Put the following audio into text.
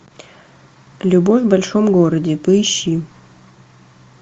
любовь в большом городе поищи